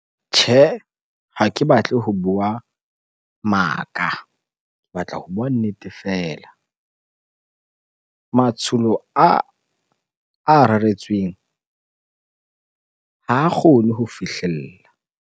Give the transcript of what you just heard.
Tjhe, ha ke batle ho bua maka ke batla ho bua nnete feela. Matsholo aa a reretsweng ha kgone ho fihlella.